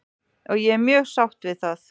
Og ég er mjög sátt við það.